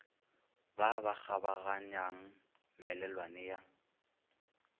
ba ba kgabaganyang melelwane ya